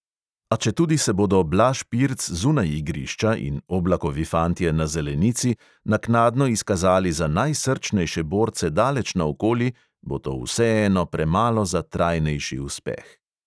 A četudi se bodo blaž pirc zunaj igrišča in oblakovi fantje na zelenici naknadno izkazali za najsrčnejše borce daleč naokoli, bo to vseeno premalo za trajnejši uspeh.